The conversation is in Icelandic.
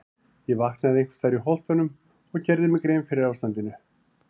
Ég vaknaði einhvers staðar í Holtunum og gerði mér grein fyrir ástandinu.